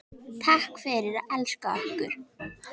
Takk fyrir að elska okkur.